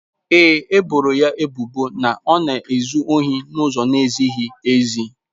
Ee e, e boro ya ebubo na ọ na-ezu ohi n'ụzọ na-ezighị ezi.